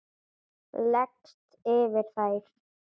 Leggst yfir þær.